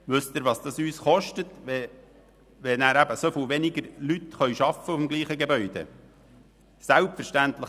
Wissen Sie, was es uns kostet, wenn so viel weniger Leute im selben Gebäude arbeiten?